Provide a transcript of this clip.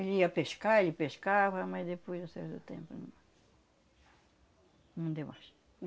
Ele ia pescar, ele pescava, mas depois de um certo tempo não deu mais.